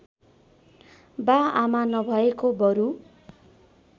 बाआमा नभएको बरु